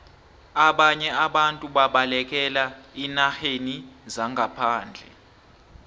ababnye abantu babalekela eenarheni zangaphandle